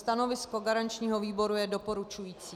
Stanovisko garančního výboru je doporučující.